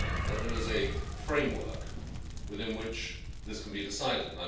there is a framework within which this can be decided.